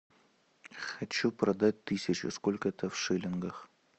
хочу продать тысячу сколько это в шиллингах